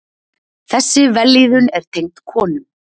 Þessi vellíðun er tengd konum.